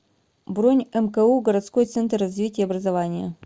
бронь мку городской центр развития образования